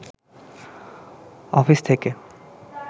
office থেকে